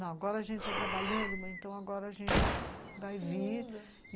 Não, agora a gente está trabalhando, mas então agora a gente vai vir.